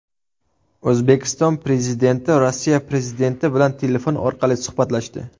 O‘zbekiston Prezidenti Rossiya prezidenti bilan telefon orqali suhbatlashdi.